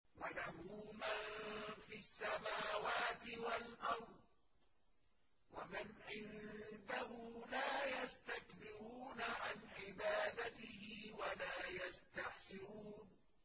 وَلَهُ مَن فِي السَّمَاوَاتِ وَالْأَرْضِ ۚ وَمَنْ عِندَهُ لَا يَسْتَكْبِرُونَ عَنْ عِبَادَتِهِ وَلَا يَسْتَحْسِرُونَ